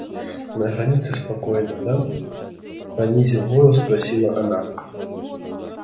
на границе неспокойно да понизив голос спросила она